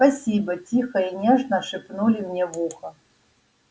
спасибо тихо и нежно шепнули мне в ухо